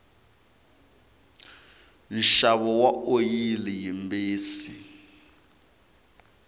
nxavo wa oyili yimbisi